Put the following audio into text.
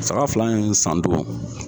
Saga fila in sandon